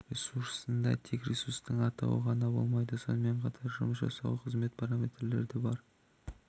ресурсында тек ресурстың атауы ғана болмайды сонымен қатар жұмыс жасауға қажетті параметрлері де бар